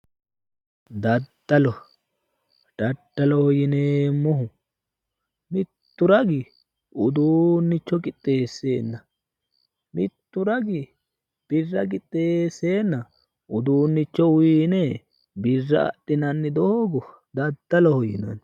Daddalo, daddaloho yineemmohu mittu ragi uduunnicho qixxeesseenna mittu ragi birra qixxeesseenna uduunnicho uyiine birra adhinanni doogo daddaloho yinanni.